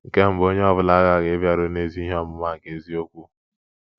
Nke mbụ, onye ọ bụla aghaghị ‘ ịbịaru n' ezi ihe ọmụma nke eziokwu. ’